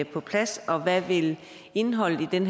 på plads og hvad vil indholdet i den